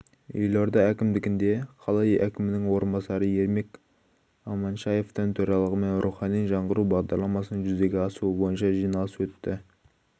елорда әкімдігінде қала әкімінің орынбасары ермек аманшаевтің төрағалығымен рухани жаңғыру бағдарламасының жүзеге асуы бойынша жиналыс өтті